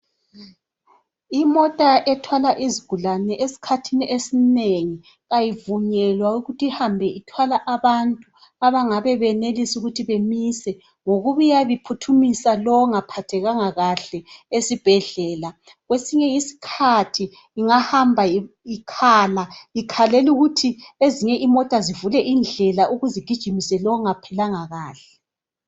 Imota ethwala izigulane esikhathini esinengi ayivunywela ukuthi ihambe ithwala abantu abangabe benelisa ukuthi bemise ngokuba iyabe iphuthumisa lowo ongaphathekanga kahle esibhedlela. Kwesinye isikhathi ingahamba ikhala ,ikhalela ukuthi ezinye imota zivule indlela ukuze igijimise lowo ongaphilanga kahle.